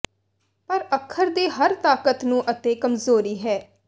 ਪਰ ਅੱਖਰ ਦੇ ਹਰ ਤਾਕਤ ਨੂੰ ਅਤੇ ਕਮਜ਼ੋਰੀ ਹੈ